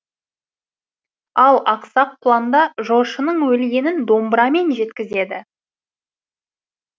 ал ақсақ құланда жошының өлгенін домбырамен жеткізеді